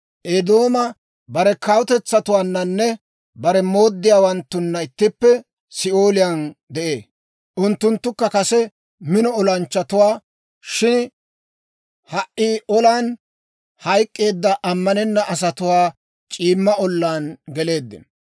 «Eedoomi bare kaatetuwaannanne bare mooddiyaawanttunna ittippe Si'ooliyaan de'ee; unttunttukka kase mino olanchchatuwaa; shin ha"i olan hayk'k'eedda, ammanenna asatuwaana c'iimma ollaan geleeddino.